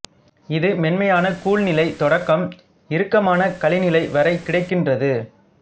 இது மென்மையான கூழ் நிலை தொடக்கம் இறுக்கமான களி நிலை வரை கிடைக்கின்றது